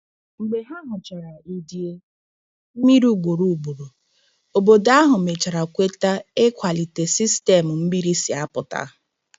Mgbe ha hụchara idei mmiri ugboro ugboro, obodo ahụ mechara kweta ịkwalite sistemu mmiri si apụta.